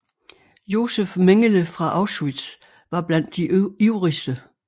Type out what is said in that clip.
Josef Mengele fra Auschwitz var blandt de ivrigste